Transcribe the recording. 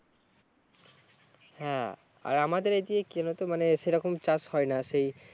হ্যাঁ আর আমাদের এইদিকে কি জানোতো সেরকম চাষ হয় না সেই